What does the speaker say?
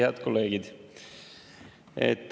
Head kolleegid!